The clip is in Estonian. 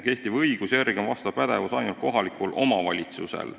Kehtiva õiguse järgi on selline pädevus ainult kohalikul omavalitsusel.